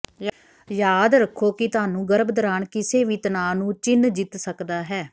ਯਾਦ ਰੱਖੋ ਕਿ ਤੁਹਾਨੂੰ ਗਰਭ ਦੌਰਾਨ ਕਿਸੇ ਵੀ ਤਣਾਅ ਨੂੰ ਚਿੰਨ੍ਹ ਜਿੱਤ ਸਕਦਾ ਹੈ